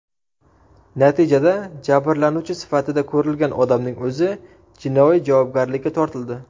Natijada jabrlanuvchi sifatida ko‘rilgan odamning o‘zi jinoiy javobgarlikka tortildi.